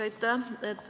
Aitäh!